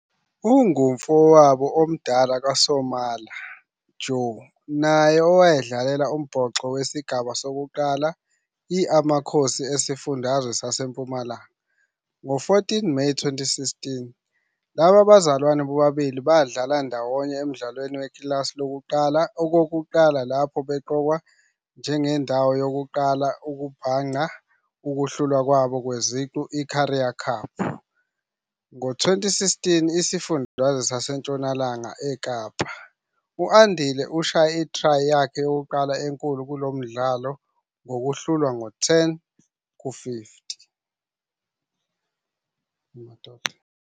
Ungumfowabo omdala kaSomila Jho, naye owadlalela umbhoxo wesigaba sokuqala i Amakhosi Esifundazwe SaseMpumalanga. Ngo-14 Meyi 2016, laba bazalwane bobabili badlala ndawonye emdlalweni wekilasi lokuqala okokuqala lapho beqokwa njengendawo yokuqala yokubhangqa ukuhlulwa kwabo kweziqu zeCurrie Cup ngo-2016 Isifundazwe saseNtshonalanga eKapa. U-Andile ushaye i-try yakhe yokuqala enkulu kulo mdlalo ngokuhlulwa ngo-10-50.